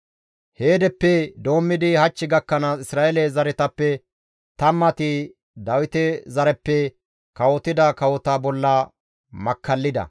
Heedeppe doommidi hach gakkanaas Isra7eele zaretappe tammati Dawite zareppe kawotida kawota bolla makkallida.